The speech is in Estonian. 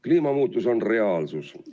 Kliimamuutus on reaalsus.